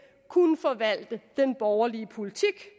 kunne forvalte den borgerlige politik